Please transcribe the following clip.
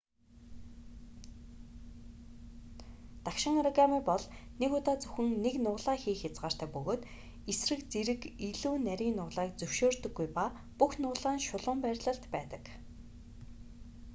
дагшин оригами бол нэг удаад зөвхөн нэг нугалаа хийх хязгаартай бөгөөд эсрэг зэрэг илүү нарийн нугалааг зөвшөөрдөггүй ба бүх нугалаа нь шулуун байрлалд байдаг